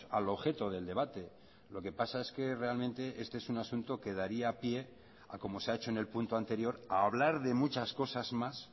al objeto del debate lo que pasa es que realmente este es un asunto que daría pie a como se ha hecho en el punto anterior a hablar de muchas cosas más